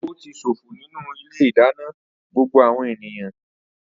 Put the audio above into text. Epo ti ṣòfò nínú ilé-ìdáná gbogbo àwọn ènìyàn.